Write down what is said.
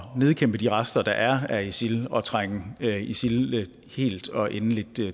nedkæmpe de rester der er af isil og trænge isil helt og endeligt